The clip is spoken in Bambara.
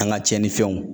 An ka tiɲɛnifɛnw